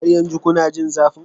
Har yanzu kuna jin zafin?